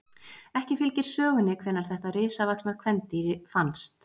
Ekki fylgir sögunni hvenær þetta risavaxna kvendýr fannst.